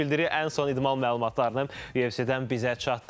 Ən son idman məlumatlarını YFC-dən bizə çatdırdı.